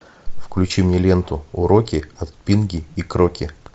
включи мне ленту уроки от пинги и кроки